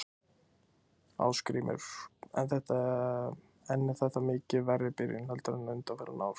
Ásgrímur: En er þetta mikið verri byrjun heldur en undanfarin ár?